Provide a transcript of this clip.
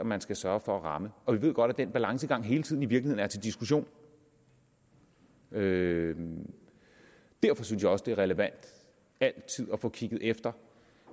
man skal sørge for at ramme og vi ved godt at den balancegang i virkeligheden hele tiden er til diskussion derfor synes jeg også det er relevant altid at få kigget efter